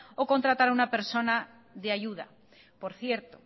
o contratar a una persona de ayuda por cierto